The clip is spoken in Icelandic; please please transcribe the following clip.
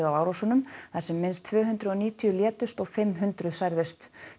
á árásunum þar sem minnst tvö hundruð og níutíu létust og fimm hundruð særðust